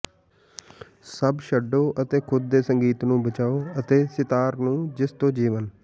ਸਭ ਛਡੋ ਅਤੇ ਖੁਦ ਦੇ ਸੰਗੀਤ ਨੂੰ ਬਚਾਓ ਅਤੇ ਸ਼ਿਤਾਰ ਨੂੰ ਜਿਸ ਤੋ ਜੀਵਨ